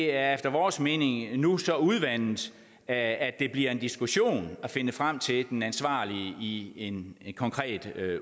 er efter vores mening nu så udvandet at det bliver en diskussion at finde frem til den ansvarlige i en konkret